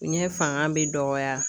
N ɲɛ fanga bɛ dɔgɔya.